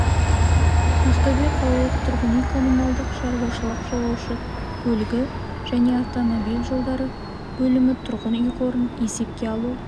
ақтөбе қалалық тұрғын үй-коммуналдық шаруашылық жолаушы көлігі және автомобиль жолдары бөлімі тұрғын үй қорын есепке алу